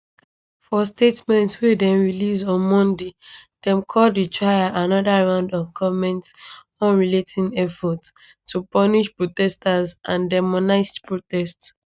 for statement wey dem release on monday dem call di trial anoda round of goment unrelenting efforts to punish protesters and demonize protest